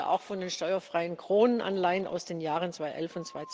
Ich spreche hier auch von den steuerfreien Kronen Anleihen aus den Jahren 2011